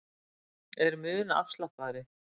Er mun afslappaðri